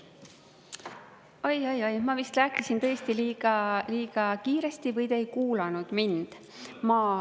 Oi-oi-oi, ma vist rääkisin tõesti liiga kiiresti või te ei kuulanud mind.